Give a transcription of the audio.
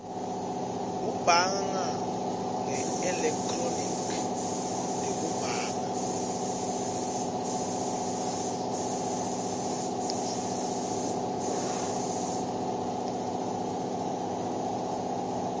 kubhanga ngeelekhthronikhi nekubhanga